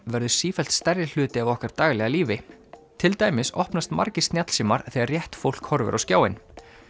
verður sífellt stærri hluti af okkar daglega lífi til dæmis opnast margir snjallsímar þegar rétt fólk horfir á skjáinn